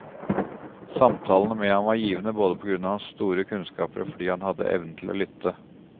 Samtalene med ham var givende både på grunn av hans store kunnskaper og fordi han hadde evnen til å lytte.